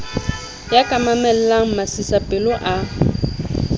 ya ka mamellang masisapelo a